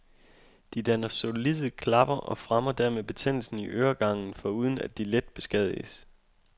De danner solide klapper og fremmer dermed betændelse i øregangen, foruden at de let beskadiges.